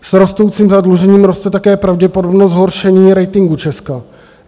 S rostoucím zadlužením roste také pravděpodobnost zhoršení ratingu Česka.